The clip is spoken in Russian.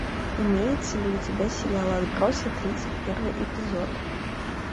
имеется ли у тебя сериал отбросы тридцать первый эпизод